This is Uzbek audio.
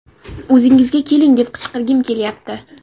O‘zingizga keling, deb qichqirgim kelyapti!